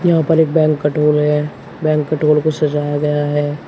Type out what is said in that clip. यहां पर एक बैंकट हॉल है बैंकट हॉल को सजाया गया है।